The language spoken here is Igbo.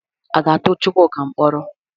A ga-atụ Chukwuka mkpọrọ?